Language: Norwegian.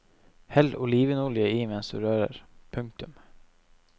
Hell olivenolje i mens du rører. punktum